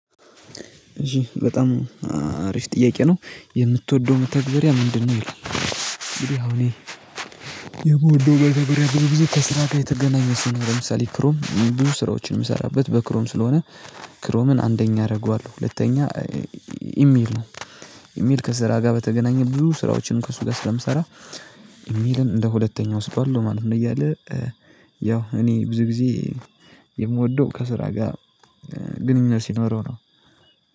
እሺ በጣም አሪፍ ጥያቄ ነው የምትወደው መተግበሪያ ምንድነው? ይላል እንግዲ አሁን የምወደው መተግበሪያ ብዙ ጊዜ ከስራ ጋር የተገናኘ ስለሆነ ለምሳሌ ክሮም ብዙ ስራዎችን የምሰራበት በክሮም ስለሆነ ክሮምን አንደኛ አደርገዋለሁ። ሁለተኛ ኢሜል ነው። ኢሜል ከስራ ጋር በተገናኘ ብዙ ስራዎችን ከሱ ጋር ስለምሰራ ኢሜልን እንደ ሁለተኛው እሰጣለሁ ማለት ነው። እያለ ያው እኔ ብዙ ጊዜ የምወደው ከስራ ጋር ግንኙነት ሲኖረው ነው